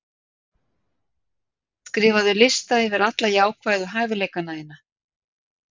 Skrifaðu lista yfir alla jákvæðu hæfileikana þína.